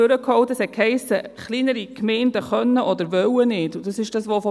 Es wurde gesagt, kleinere Gemeinden würden dies nicht tun können oder wollen.